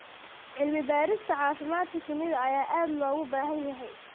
Cilmi-baarista caafimaadka shinnida ayaa aad loogu baahan yahay.